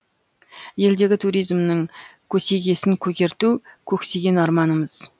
елдегі туризмнің көсегесін көгерту көксеген арманымыз